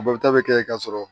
A balota bɛ kɛ ka sɔrɔ